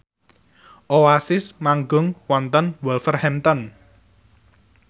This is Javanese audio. Oasis manggung wonten Wolverhampton